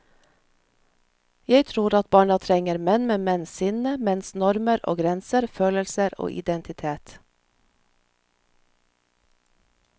Jeg tror at barna trenger menn med menns sinne, menns normer og grenser, følelser og identitet.